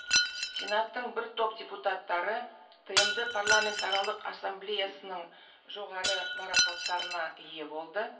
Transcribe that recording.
сенаттың бір топ депутаттары тмд парламентаралық ассамблеясының жоғары марапаттарына ие болды